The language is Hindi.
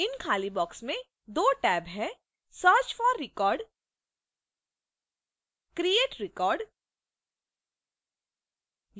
इन खाली boxes में दो टैब हैं: